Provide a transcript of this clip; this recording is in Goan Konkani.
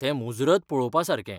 तें मुजरत पळोवपासारकें.